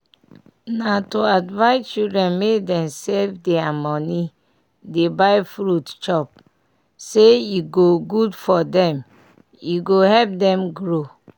nah to advise children make dem save deir money dey buy fruit chop say e go good for dem e go help dem grow.